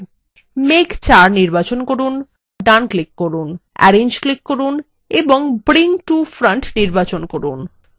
মেঘ ৪ নির্বাচন করুন context menu জন্য ডান click করুন arrange click করুন এবং bring to front নির্বাচন করুন